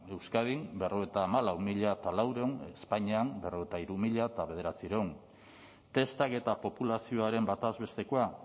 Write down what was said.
euskadin berrogeita hamalau mila laurehun espainian berrogeita hamairu mila bederatziehun testak eta populazioaren bataz bestekoa